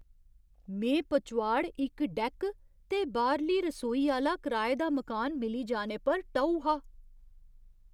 में पचोआड़ इक डैक्क ते बाह्‌रली रसोई आह्‌ला कराए दा मकान मिली जाने पर टऊ हा।